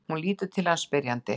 Hún lítur til hans spyrjandi.